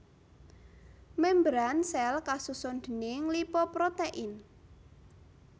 Membran sèl kasusun déning lipoprotein